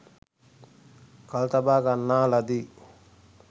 කල්තබා ගන්නා ලදී